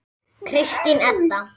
Kristín Edda.